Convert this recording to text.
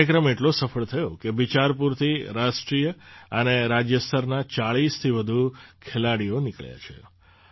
આ કાર્યક્રમ એટલો સફળ થયો છે કે બિચારપુરથી રાષ્ટ્રીય અને રાજ્ય સ્તરના ૪૦થી વધુ ખેલાડીઓ નીકળ્યા છે